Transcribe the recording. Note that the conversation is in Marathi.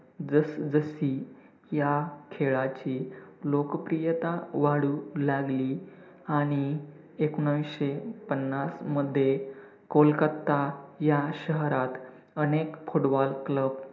जस-जशी ह्या खेळाची लोकप्रियता वाढू लागली आणि एकोणविसशे पन्नासमध्ये कोलकाता ह्या शहरात अनेक footballclub